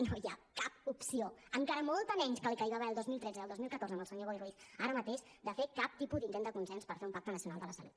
no hi ha cap opció encara molta menys que la que hi va haver el dos mil tretze i el dos mil catorze amb el senyor boi ruiz ara mateix de fer cap tipus d’intent de consens per fer un pacte nacional de la salut